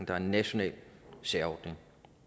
er en national særordning